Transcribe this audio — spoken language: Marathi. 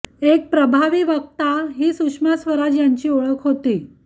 एक प्रभावी वक्ता ही सुषमा स्वराज यांची ओळख होती